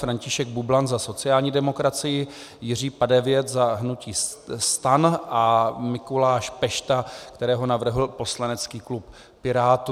František Bublan za sociální demokracii, Jiří Padevět za hnutí STAN a Mikuláš Pešta, kterého navrhl poslanecký klub Pirátů.